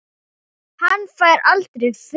Hann fær aldrei frið.